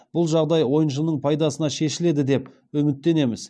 бұл жағдай ойыншының пайдасына шешіледі деп үміттенеміз